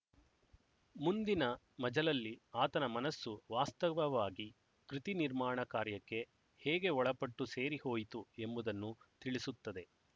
ಮುಂದಿನ ಮಜಲಲ್ಲಿ ಆತನ ಮನಸ್ಸು ವಾಸ್ತವವಾಗಿ ಕೃತಿನಿರ್ಮಾಣ ಕಾರ್ಯಕ್ಕೆ ಹೇಗೆ ಒಳಪಟ್ಟು ಸೇರಿಹೋಯಿತು ಎಂಬುದನ್ನು ತಿಳಿಸುತ್ತದೆ